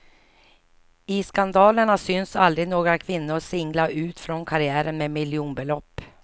I skandalerna syns aldrig några kvinnor singla ut från karriären med miljonbelopp.